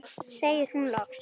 segir hún loks.